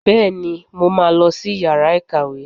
Bẹ́ẹ̀, mo máa lọ sí yàrá ìkàwé